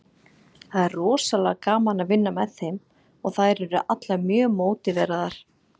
Það er rosalega gaman að vinna með þeim og þær eru allar mjög mótiveraðar.